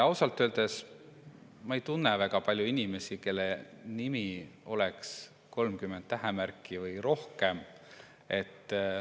Ausalt öeldes ma ei tunne väga palju inimesi, kelle nime oleks 30 tähemärki või rohkem.